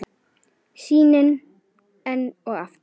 Sýnin enn og aftur.